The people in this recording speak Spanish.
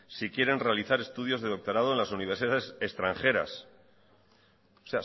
si quieren realizar estudios de doctorado en las universidades extranjeras o